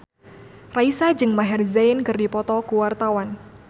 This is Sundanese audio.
Raisa jeung Maher Zein keur dipoto ku wartawan